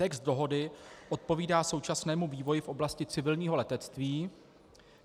Text dohody odpovídá současnému vývoji v oblasti civilního letectví.